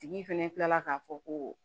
Tigi fɛnɛ kila la ka fɔ ko